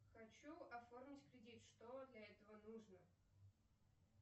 хочу оформить кредит что для этого нужно